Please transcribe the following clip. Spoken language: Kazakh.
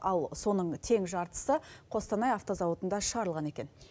ал соның тең жартысы қостанай автозауытында шығарылған екен